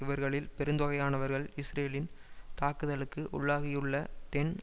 இவர்களில் பெருந்தொகையானவர்கள் இஸ்ரேலின் தாக்குதலுக்கு உள்ளாகியுள்ள தென்